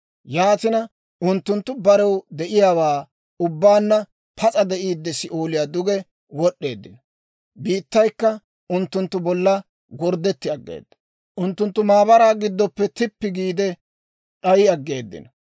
Yaatina unttunttu barew de'iyaawaa ubbaanna pas'a de'iidde, Si'ooliyaa duge wod'd'eeddino. Biittaykka unttunttu bolla gorddetti aggeeda; unttunttu maabaraa giddoppe tippi giide d'ay aggeeddino.